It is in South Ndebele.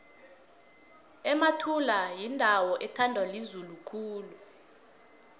emathula yindawo ethandwa lizulu khulu